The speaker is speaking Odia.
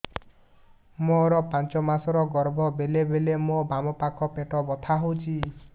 ମୋର ପାଞ୍ଚ ମାସ ର ଗର୍ଭ ବେଳେ ବେଳେ ମୋ ବାମ ପାଖ ପେଟ ବଥା ହଉଛି